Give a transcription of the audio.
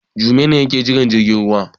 Jume ne yake jiran jirgin ruwa.